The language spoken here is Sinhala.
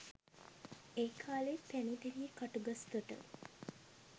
ඒකාලේ පැණිදෙනිය කටුගස්තොට